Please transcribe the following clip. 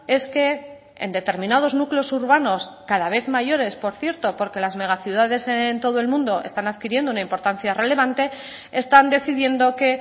es que en determinados núcleos urbanos cada vez mayores por cierto porque las megaciudades en todo el mundo están adquiriendo una importancia relevante están decidiendo que